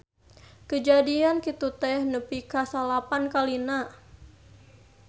Kajadian kitu teh nepi ka salapan kalina.